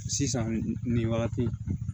Sisan nin wagati